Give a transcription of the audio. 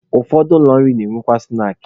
Ụfọdụ ụlọ nri na-emekwa snaakị.